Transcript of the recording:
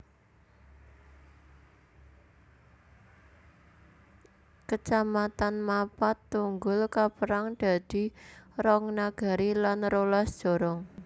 Kecamatan Mapat Tunggul kapérang dadi rong nagari lan rolas jorong